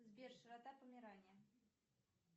сбер широта померании